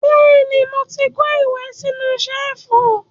Bẹ́ẹ̀ ni, mo ti kó ìwé sínú ṣẹ́ẹ́fù.